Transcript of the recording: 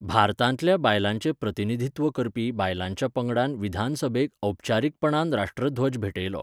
भारतांतल्या बायलांचें प्रतिनिधित्व करपी बायलांच्या पंगडान विधानसभेक औपचारीकपणान राष्ट्रध्वज भेटयलो.